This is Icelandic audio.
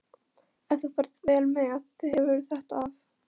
Ef þú ferð vel með þig hefurðu þetta af.